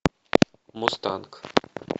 мустанг